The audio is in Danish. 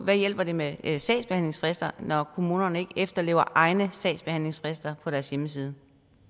hvad hjælper det med med sagsbehandlingsfrister når kommunerne ikke efterlever egne sagsbehandlingsfrister på deres hjemmeside